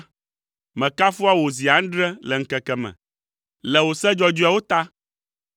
Mekafua wò zi adre le ŋkeke me, le wò se dzɔdzɔeawo ta.